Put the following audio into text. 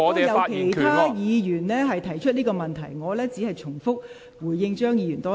剛才已有其他議員提出這個問題，我現在再回應張議員一次。